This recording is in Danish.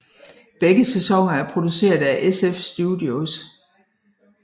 Begge sæsoner er produceret af SF Studios